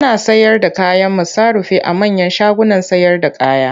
Ana sayarda kayan masarufi a manyan shagunan sayarda kaya.